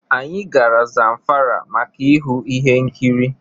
Anyị gara Zamfara maka ịhụ ihe nkịrị